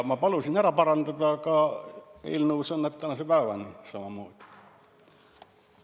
Ma palusin selle ära parandada, aga eelnõus on need tänase päevani endist moodi.